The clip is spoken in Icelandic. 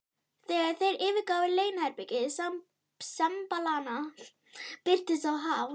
Þegar þeir yfirgáfu leyniherbergi sembalanna, birtist sá Hal